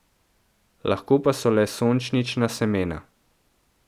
Lahko pa so le sončnična semena.